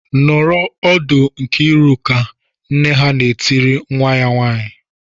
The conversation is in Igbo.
"Nọrọ ọdụ Nkiriuka!" Nne ha na-etiri nwa ya nwaanyị.